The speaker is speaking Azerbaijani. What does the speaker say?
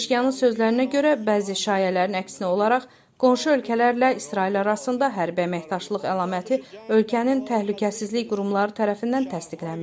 Pezeşkiyanın sözlərinə görə, bəzi şayələrin əksinə olaraq, qonşu ölkələrlə İsrail arasında hərbi əməkdaşlıq əlaməti ölkənin təhlükəsizlik qurumları tərəfindən təsdiqlənməyib.